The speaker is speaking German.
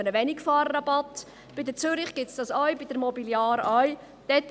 Bei der Zürich Versicherung gibt es das ebenfalls und bei der Mobiliar auch.